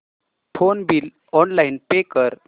phone bill online pay कर